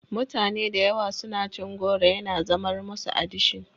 Mutane da yawa suna cin goro yana zamar musu adishin.